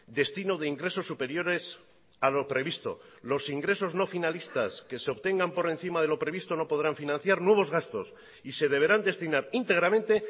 destino de ingresos superiores a lo previsto los ingresos no finalistas que se obtengan por encima de lo previsto no podrán financiar nuevos gastos y se deberán destinar íntegramente